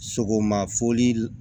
Sogoma foli